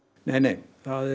nei nei